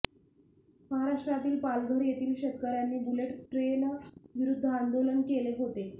महाराष्ट्रातील पालघर येथील शेतकऱयांनी बुलेट ट्रेनविरुद्ध आंदोलन केले होते